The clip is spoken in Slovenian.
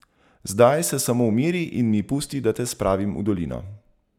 Zdaj se samo umiri in mi pusti, da te spravim v dolino.